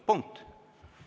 Punkt.